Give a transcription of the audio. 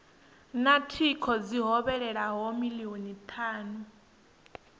na thingo dzi hovhelelaho milioni thanu